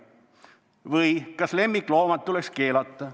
Või: "Kas lemmikloomad tuleks keelata?